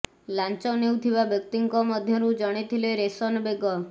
ଲାଞ୍ଚ ନେଉଥିବା ବ୍ୟକ୍ତିଙ୍କ ମଧ୍ୟରୁ ଜଣେ ଥିଲେ ରୋଶନ ବେଗ